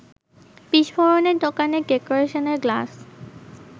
বিস্ফোরণে দোকানের ডেকেরেশনের গ্লাস